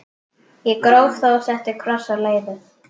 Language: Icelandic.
Ég gróf þá og setti kross á leiðið.